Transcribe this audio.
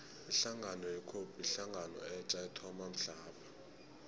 ihlangano ye cope yihlangano etja ethoma mhlapha